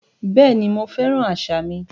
Bẹ́ẹ̀ni, mo fẹ́ràn àṣà mi